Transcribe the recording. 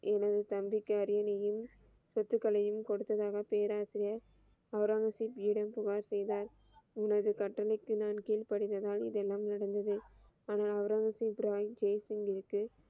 எனது தம்பிக்கு அரியணையின், சொத்துகளையும் கொடுத்ததாக பேராசிரியர் அவ்ரங்கசீப் செய்த எனது உனது கட்டளைக்கு நான் கீழ்படிந்ததால் இதெல்லாம் நடந்தது ஆனால் அவுன்றங்கஜீப் ராய் ஜேசிங்க் கிற்கு,